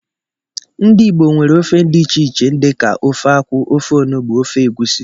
Ndị ìgbo nwere ofe dị iche iche dika ofe akwụ, ofe ọnụgbu, ofe Egwusi.